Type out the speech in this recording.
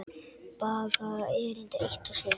Baga erindi eitt og sér.